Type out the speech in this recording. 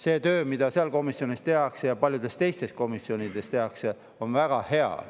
See töö, mida seal komisjonis tehakse ja mida paljudes teistes komisjonides tehakse, on väga hea.